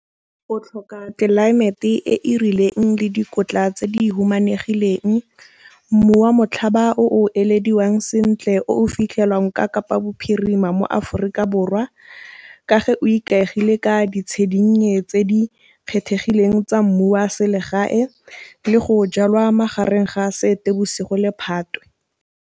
O tlhoka tlelaemete e e rileng le dikotla tse di humanegileng, mmu wa motlhaba o o ilediwang sentle o o fitlhelwang ka Kapa bophirima mo Aforika Borwa, ka ge o ikaegile ka tse di kgethegileng tsa mmu wa selegae le go jalwa magareng ga Seetebosigo le Phatwe.